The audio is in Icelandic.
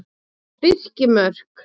Birkimörk